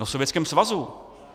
No v Sovětském svazu!